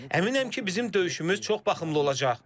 Əminəm ki, bizim döyüşümüz çox baxımlı olacaq.